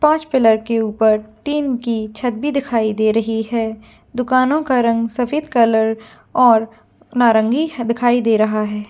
पांच पिलर के ऊपर तीन की छत भी दिखाई दे रही है दुकानो का रंग सफेद कलर और नारंगी दिखाई दे रहा है।